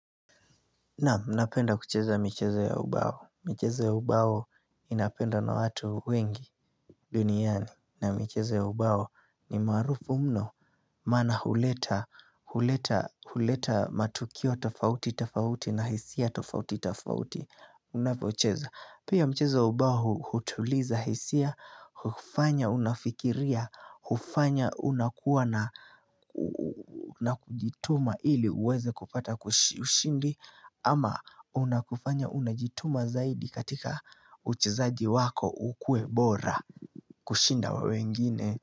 Naam, napenda kucheza michezo ya ubao. Michezo ya ubao inapendwa na watu wengi duniani. Na michezo ya ubao ni maarufu mno. Maana huleta matukio tofauti, tofauti na hisia tofauti, tofauti. Unapocheza. Pia mchezo ubao hutuliza hisia, hufanya unafikiria, hufanya unakuwa na na kujituma ili uweze kupata ushindi ama unakufanya unajituma zaidi katika uchezaji wako ukuwe bora kushinda wengine.